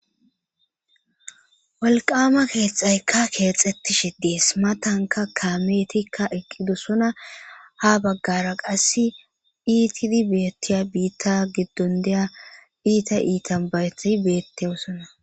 walqama keexaykka keexettishi dees matanka kaametikka eqqidosona ha baggara qass iitidi beettiya biitta giddon deya iita iitan bayetai beettewosona